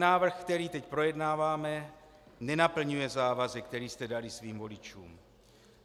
Návrh, který teď projednáváme, nenaplňuje závazek, který jste dali svým voličům.